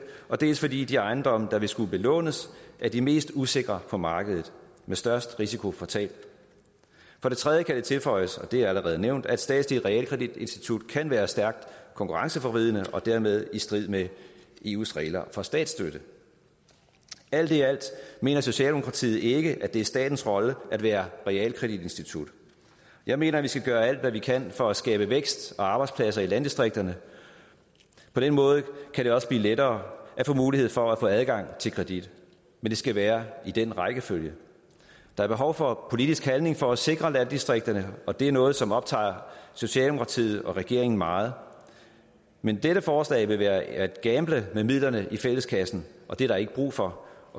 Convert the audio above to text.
dels fordi de ejendomme der vil skulle belånes er de mest usikre på markedet med størst risiko for tab for det tredje kan det tilføjes og det er allerede nævnt at et statsligt realkreditinstitut kan være stærkt konkurrenceforvridende og dermed i strid med eus regler for statsstøtte alt i alt mener socialdemokratiet ikke at det er statens rolle at være realkreditinstitut jeg mener vi skal gøre alt hvad vi kan for at skabe vækst og arbejdspladser i landdistrikterne på den måde kan det også blive lettere at få mulighed for at få adgang til kredit men det skal være i den rækkefølge der er behov for politisk handling for at sikre landdistrikterne og det er noget som optager socialdemokratiet og regeringen meget men dette forslag vil være at gamble med midlerne i fælleskassen og det er der ikke brug for